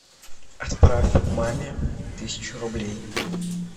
отправь маме тысячу рублей